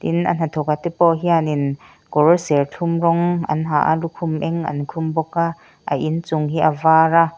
in a hnathawk a te pawh hianin kawr serthlum rawng an ha a lukhum eng an khum bawk a a inchung hi a var a.